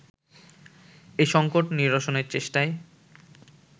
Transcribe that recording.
এ সঙ্কট নিরসনের চেষ্টায়